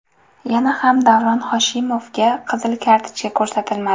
Yana ham Davron Hoshimovga qizil kartochka ko‘rsatilmadi.